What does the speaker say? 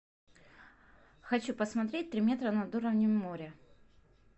хочу посмотреть три метра над уровнем моря